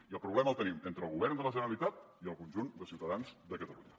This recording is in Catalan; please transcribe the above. i el problema el tenim entre el govern de la generalitat i el conjunt de ciutadans de catalunya